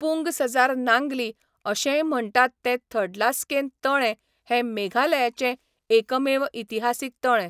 पुंग सजार नांगली अशेंय म्हण्टात तें थडलास्केन तळें हें मेघालयाचें एकमेव इतिहासीक तळें.